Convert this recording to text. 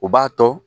U b'a to